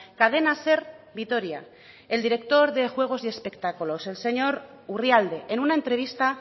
cadena ser vitoria el director de juegos y espectáculos el señor urrialde en una entrevista